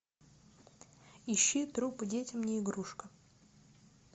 ищи трупы детям не игрушка